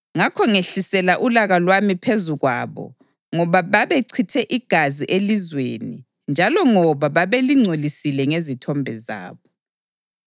Ngakho ngehlisela ulaka lwami phezu kwabo ngoba babechithe igazi elizweni njalo ngoba babelingcolisile ngezithombe zabo.